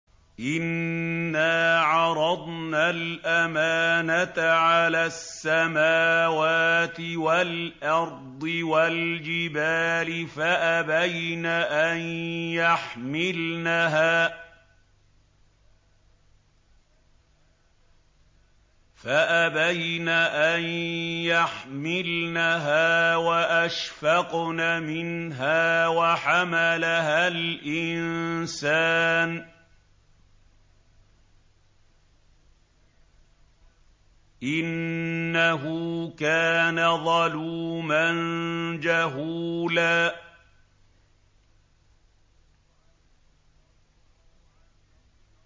إِنَّا عَرَضْنَا الْأَمَانَةَ عَلَى السَّمَاوَاتِ وَالْأَرْضِ وَالْجِبَالِ فَأَبَيْنَ أَن يَحْمِلْنَهَا وَأَشْفَقْنَ مِنْهَا وَحَمَلَهَا الْإِنسَانُ ۖ إِنَّهُ كَانَ ظَلُومًا جَهُولًا